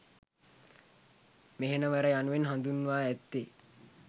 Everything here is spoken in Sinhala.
මෙහෙණවර යනුවෙන් හඳුන්වා ඇත්තේ